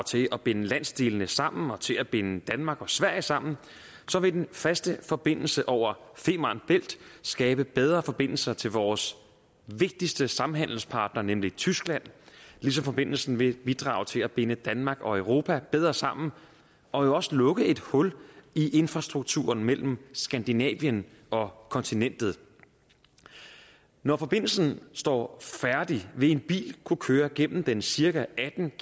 til at binde landsdelene sammen og til at binde danmark og sverige sammen vil den faste forbindelse over femern bælt skabe bedre forbindelser til vores vigtigste samhandelspartner nemlig tyskland ligesom forbindelsen vil bidrage til at binde danmark og europa bedre sammen og jo også lukke et hul i infrastrukturen mellem skandinavien og kontinentet når forbindelsen står færdig vil en bil kunne køre gennem den cirka atten